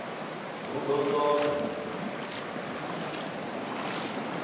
hu d o t od